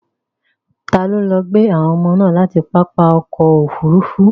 Ta ló lọ gbé àwọn ọmọ láti pápá ọkọ̀ Òfurufú?